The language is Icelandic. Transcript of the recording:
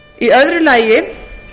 í öðru lagi